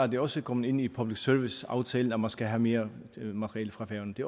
det også kommet ind i public service aftalen at man skal have mere materiale fra færøerne det